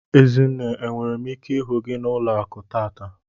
Ezinne enwere m ike ihu gi na ụlọaku tata?